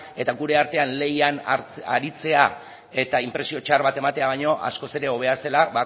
eta gure artean lehian aritzea eta inpresio txar bat ematea baino askoz ere hobea zela